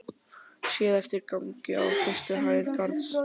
Séð eftir gangi á fyrstu hæð Garðs.